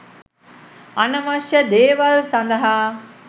අනවශ්‍ය දේවල් සඳහා